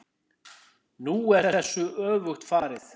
Nú er þessu öfugt farið.